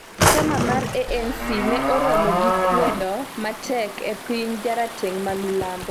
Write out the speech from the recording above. chama mar ANC ne oromo gi kwedo matek e piny jarateng' ma milambo